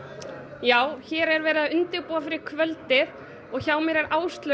já hér er verið að undirbúa kvöldið og hjá mér er Áslaug